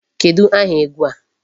Kedụ aha egwu a?